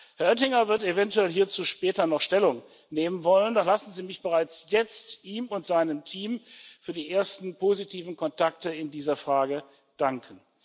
Herr Oettinger wird eventuell hierzu später noch Stellung nehmen wollen, doch lassen Sie mich bereits jetzt ihm und seinem Team für die ersten positiven Kontakte in dieser Frage danken.